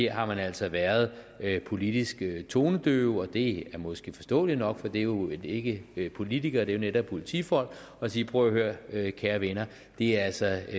har man altså været politisk tonedøv og det er måske forståeligt nok for det er jo ikke politikere det er jo netop politifolk og sige prøv at høre kære venner det er altså